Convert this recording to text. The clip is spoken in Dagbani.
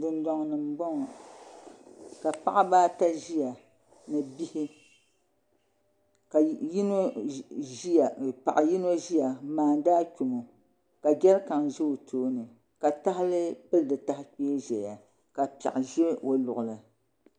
Dundoŋ ni n boŋo ka paɣaba ata ʒiya ni bihi ka paɣa yino ʒiya n maandi achomo ka jɛrikan ʒʋ o tooni ka tahali pili di taha kpee zuɣu ka piɛɣu ʒɛ o luɣuli